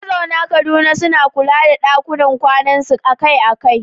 Mazauna Kaduna suna kula da ɗakunan kwanansu akai-akai